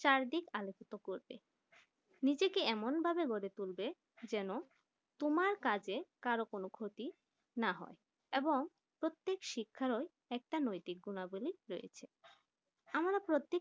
চারিদিক আলোকিত করবে নিজেকে এমন ভাবে গড়ে তোলবে যেন তোমার কাজে কারো কোনো ক্ষতি না হয় এবং প্রত্যেক শিক্ষায় একটাই নৈতিক গুনাবলি রয়েছে আমরা